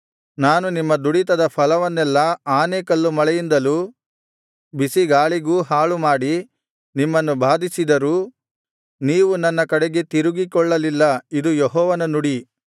ನಾನು ನಿಮ್ಮ ದುಡಿತದ ಫಲವನ್ನೆಲ್ಲಾ ಆನೆಕಲ್ಲು ಮಳೆಯಿಂದಲೂ ಬಿಸಿಗಾಳಿಗೂ ಹಾಳುಮಾಡಿ ನಿಮ್ಮನ್ನು ಬಾಧಿಸಿದರೂ ನೀವು ನನ್ನ ಕಡೆಗೆ ತಿರುಗಿಕೊಳ್ಳಲಿಲ್ಲ ಇದು ಯೆಹೋವನ ನುಡಿ